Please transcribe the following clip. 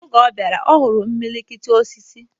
Oge ọ bịara, ọ hụrụ imilikiti osisi